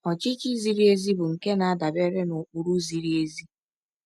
Ọchịchị ziri ezi bụ nke na-adabere n’ụkpụrụ ziri ezi.